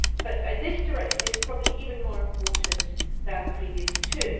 But this directive is probably even more important than the previous two.